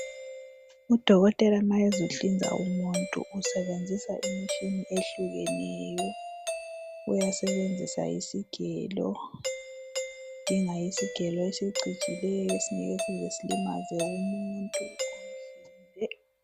Udokotela nxa ezohlinza umuntu usebenzisa imitshina ehlukeneyo uyasebenzisa isigelo udinga isigelo esicijileyo esingeke size silimaze umuntu.